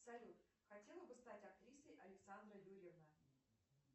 салют хотела бы стать актрисой александра юрьевна